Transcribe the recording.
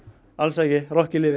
alls ekki rokkið lifir